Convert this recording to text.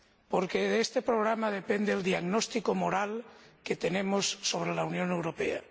Porque de este programa depende el diagnóstico moral que tenemos sobre la Unión Europea.